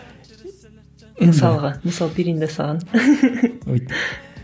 мысалға мысалы